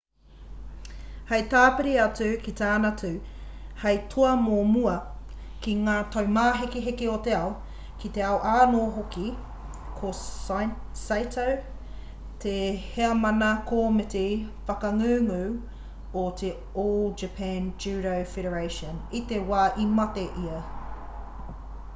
hei tāpiri atu ki tana tū hei toa o mua ki ngā taumāhekeheke o te ao ki te ao anō hoki ko saito te heamana komiti whakangungu o te all japan judo federation i te wā i mate ia